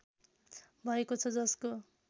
भएको छ जसको